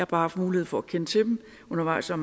bare haft mulighed for at kende til dem undervejs og